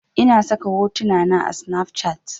Ina saka hotuna na a snafcat